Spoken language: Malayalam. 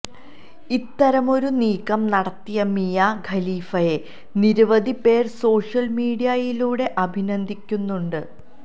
ഇത്തരമൊരു നീക്കം നടത്തിയ മിയ ഖലീഫയെ നിരവധി പേർ സോഷ്യൽ മീഡിയയിലൂടെ അഭിനന്ദിക്കുന്നുണ്ട്